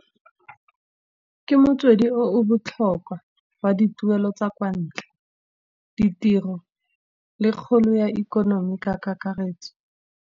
Ke motswedi o o botlhokwa wa dituelo tsa kwa ntlha, ditiro le kgolo ya ikonomi ka kakaretso.